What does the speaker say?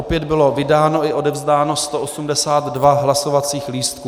Opět bylo vydáno i odevzdáno 182 hlasovacích lístků.